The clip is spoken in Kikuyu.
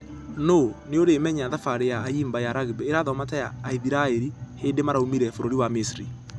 Nũ nĩũramenya thabarĩ ya ayimba ya rugby ĩrathoma ta ya aithiraeri hĩndĩ maraumire bũrũri wa misiri.